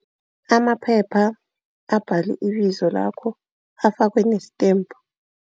Amaphepha abhalwe ibizo lakho, afakwe nesithembu.